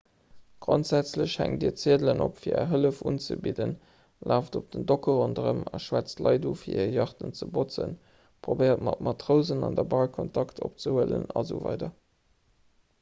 grondsätzlech hänkt dir ziedelen op fir är hëllef unzebidden laaft op den docke ronderëm a schwätzt leit un fir hir yachten ze botzen probéiert mat matrousen an der bar kontakt opzehuelen asw